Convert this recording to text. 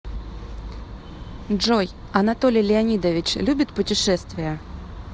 джой анатолий леонидович любит путешествия